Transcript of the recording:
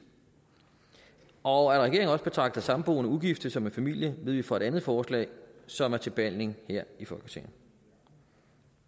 og at regeringen også betragter samboende ugifte som familie ved vi fra et andet forslag som er til behandling her i folketinget